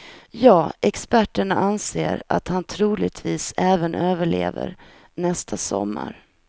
Ja, experterna anser att han troligtvis även överlever nästa sommar.